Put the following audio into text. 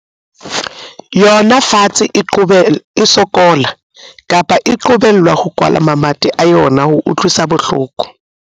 yona fatshe e sokola, kapa e qobellwa ho kwala mamati a yona, ho utlwisa bohloko.